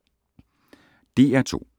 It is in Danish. DR2